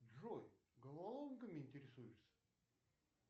джой головоломками интересуешься